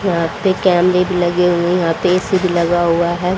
यहां पे कैमरे भी लगे हुए है यहां पे ए_सी भी लगा हुआ है।